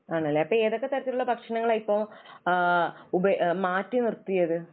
ആണല്ലേ? അപ്പോൾ ഏതൊക്കെ തരത്തിലുള്ള ഭക്ഷണങ്ങൾ ആണ് ഇപ്പൊ ആഹ് ഉപ, മാറ്റിനിർത്തിയത്?